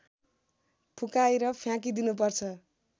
फुकाएर फ्याकिदिनु पर्छ